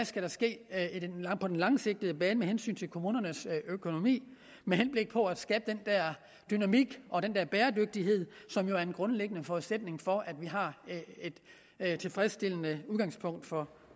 skal ske på den langsigtede bane med hensyn til kommunernes økonomi med henblik på at skabe den dynamik og den bæredygtighed som jo er en grundlæggende forudsætning for at vi har et tilfredsstillende udgangspunkt for